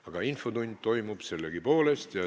Aga infotund toimub meil sellegipoolest.